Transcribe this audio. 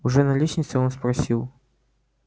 уже на лестнице он спросил